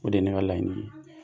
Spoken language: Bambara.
O de ye ne ka laɲini ye